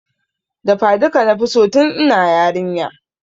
Dafa duka nafi so tun ina yarinya